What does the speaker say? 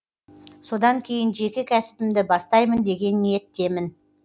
содан кейін жеке кәсібімді бастаймын деген ниеттемін